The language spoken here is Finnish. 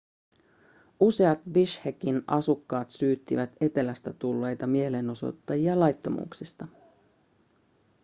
useat bishkekin asukkaat syyttivät etelästä tulleita mielenosoittajia laittomuuksista